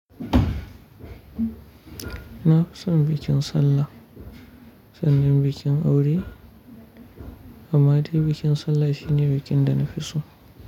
Ina fison bikin sallah, sannan bikin aure. Amma dai bikin sallah shine bikin da na fi so.